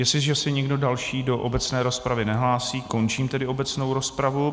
Jestliže se nikdo další do obecné rozpravy nehlásí, končím tedy obecnou rozpravu.